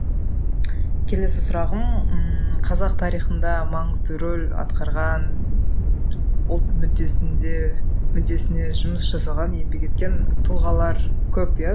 келесі сұрағым ммм қазақ тарихында маңызды рөл атқарған ұлт мүддесінде мүддесіне жұмыс жасаған еңбек еткен тұлғалар көп иә